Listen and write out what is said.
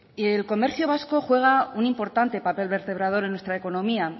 el comercio vasco juega un importante papel vertebrador en nuestra economía